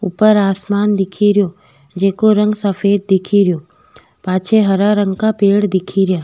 ऊपर आसमान दिखेरो जेके रंग सफ़ेद दिखेरो पाछे हरा रंग को पेड़ दिखेरो।